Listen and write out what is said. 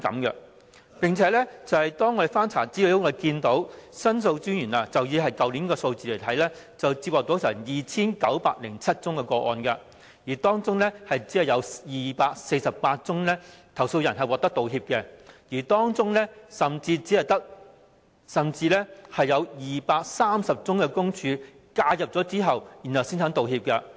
而且，經翻查資料後，可發現以申訴專員公署去年的數字而言，在所接獲的 2,907 宗個案中，只有248宗個案的投訴人獲得道歉，其中甚至有230宗是在申訴專員公署介入後才願意道歉。